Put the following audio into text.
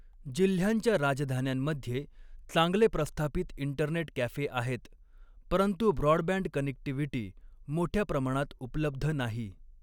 जिल्ह्यांच्या राजधान्यांमध्ये चांगले प्रस्थापित इंटरनेट कॅफे आहेत, परंतु ब्रॉडबँड कनेक्टिव्हिटी मोठ्या प्रमाणात उपलब्ध नाही.